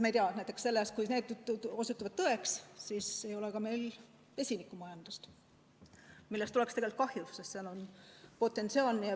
Kui need jutud osutuvad tõeks, siis ei ole meil ka vesinikumajandust, millest oleks tegelikult kahju, sest selles on potentsiaali.